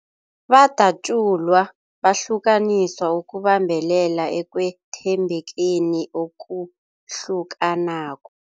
Badatjulwa, bahlukaniswa ukubambelela ekwethembekeni okuhlukanako.